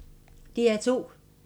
DR2